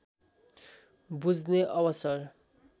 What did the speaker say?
बुझ्ने अवसर